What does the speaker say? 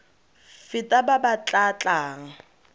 feta ba ba tla tlang